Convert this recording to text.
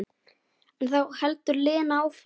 En þá heldur Lena áfram.